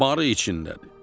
Barı içindədir.